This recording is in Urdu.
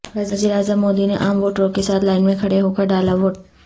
وزیر اعظم مودی نے عام ووٹروں کے ساتھ لائن میں کھڑے ہو کر ڈالا ووٹ